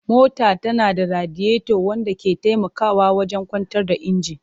Mota tana da radiator wanda ke taimakawa wajen kwantar da injin.